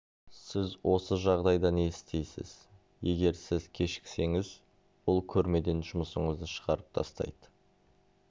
сіз осы жағдайда не істейсіз егер сіз кешіксеңіз ол көрмеден жұмысыңызды шығарып тастайды